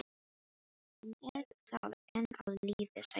Hann er þá enn á lífi sagði ég.